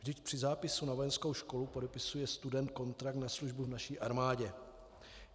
Vždyť při zápisu na vojenskou školu podepisuje student kontrakt na službu v naší armádě.